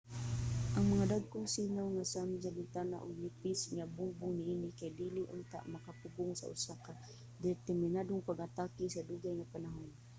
ang mga dagkong sinaw nga samin sa bintana ug nipis nga mga bungbong niini kay dili unta makapugong sa usa ka determinadong pag-atake sa dugay nga panahon